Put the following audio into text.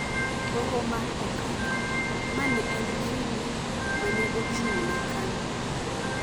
Hoho mar Okak “ma ne en kidi ma ne ochung’ne Kanu”